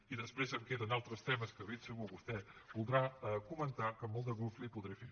i després em queden altres temes que de ben segur que vostè voldrà comentar que amb molt de gust ho podré fer